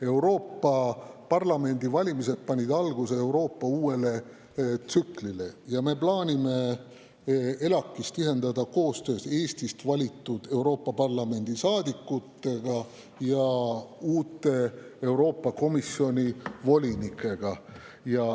Euroopa Parlamendi valimised panid alguse Euroopa uuele tsüklile ning me plaanime ELAK‑is tihendada koostööd Eestist valitud Euroopa Parlamendi saadikutega ja uute Euroopa Komisjoni volinikega.